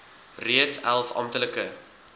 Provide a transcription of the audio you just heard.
reeds elf amptelike